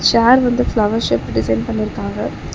சேர் வந்து ஃப்ளவர் ஷேப்ல டிசைன் பண்ணிருக்காங்க.